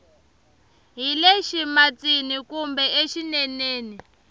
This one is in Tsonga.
hi le ximatsini kumbe exineneni